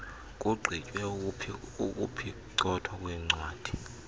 kugqitywe ukuphicothwa kweencwadi